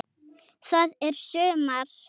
Það er sumar.